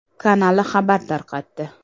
kanali xabar tarqatdi .